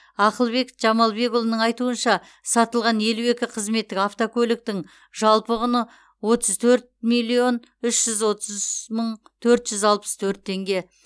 ақылбек жамалбекұлының айтуынша сатылған елу екі қызметтік автокөліктің жалпы құны отыз төрт миллион үш жүз отыз үш мың төрт жүз алпыс төрт теңге